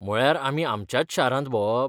म्हळ्यार आमी आमच्याच शारांत भोंवप?